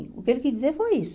O que ele quis dizer foi isso.